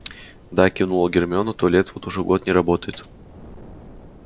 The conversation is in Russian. да кивнула гермиона туалет вот уже год не работает